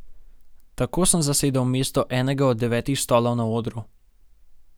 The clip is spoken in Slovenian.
Tako sem zasedel mesto enega od devetih stolov na odru.